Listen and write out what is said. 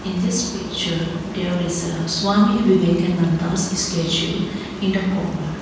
this picture there is a swami vivekananda's statue in the corner.